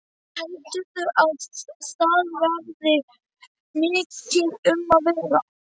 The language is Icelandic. Jú, heldurðu að það verði mikið um að vera?